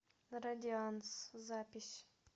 радианс запись